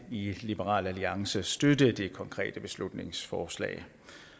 i liberal alliance støtte det konkrete beslutningsforslag